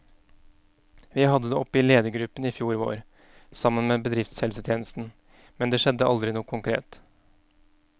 Vi hadde det oppe i ledergruppen i fjor vår, sammen med bedriftshelsetjenesten, men det skjedde aldri noe konkret.